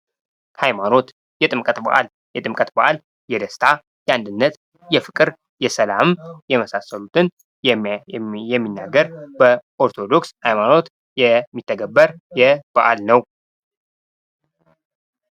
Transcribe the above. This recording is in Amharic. ሀይማኖት ፡-የጥምቀት በአል የደስታ፣ የአንድነት፣ የፍቅር፣ የሰላም የመሳሰሉትን የሚናገር በኦርቶዶክስ ሃይማኖት የሚተገበር በዐል ነው ።